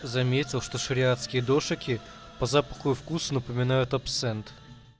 заметил что шариатский душике по запаху и вкусу напоминают абсент